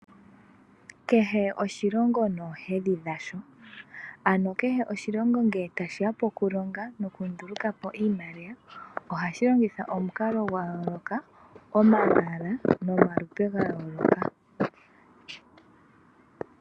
Kehe oshilongo noohedhi dhasho Ano kehe oshilongo ngele tashi ya pokulonga nokunduluka po iimaliwa ohashi longitha omukalo gwa yooloka, omalwaala nomalupe ga yooloka.